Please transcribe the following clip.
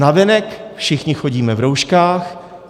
Navenek všichni chodíme v rouškách.